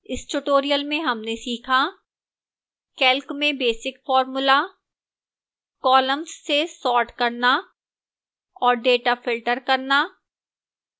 इस tutorial में हमने सीखा: